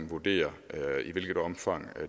vurdere i hvilket omfang